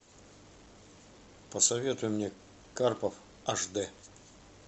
посоветуй мне карпов аш дэ